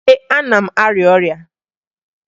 Ee, ana m arịa ọrịa